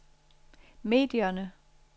medierne